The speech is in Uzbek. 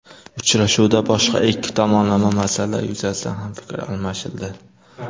Uchrashuvda boshqa ikki tomonlama masalalar yuzasidan ham fikr almashildi.